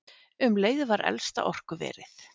Um leið var elsta orkuverið